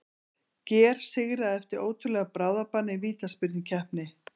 GER sigra eftir ótrúlegan bráðabana í vítaspyrnukeppni!